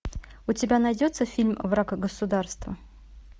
у тебя найдется фильм враг государства